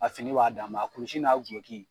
A fini b'a dan ma, a kulusi n'a duloki.